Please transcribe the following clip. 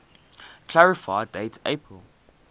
clarify date april